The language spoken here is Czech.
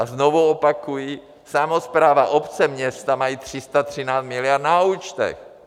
A znovu opakuji: Samospráva, obce, města mají 313 miliard na účtech!